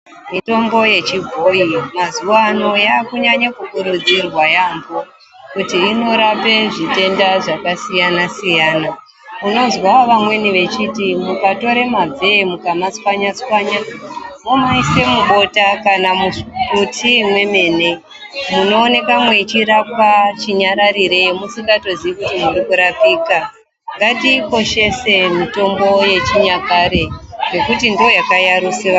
Mitombo yechibhoyi mazuwano yakunyanya kukurudzirwa yaamho kuti inorape zvitenda zvakasiyana siyana. Unozwa vamweni vechiti ukatore mabvee womatswanya tswanya womaisa mubota nyangwe mutii mwemene munooneka mweirapika chinyararire musikatozii kuti muri kurapika. Ngatiikoshese mitombo yechinyakare ngekuti ndiyo yakayarusa asharukwa edu.